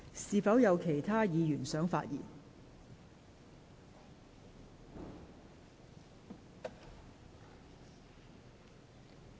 是否有其他議員想發言？